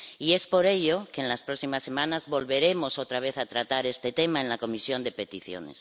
Y es por ello que en las próximas semanas volveremos, otra vez, a tratar este tema en la Comisión de Peticiones.